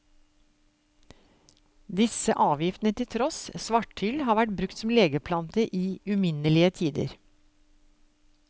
Disse giftene til tross, svarthyll har vært brukt som legeplante i uminnelige tider.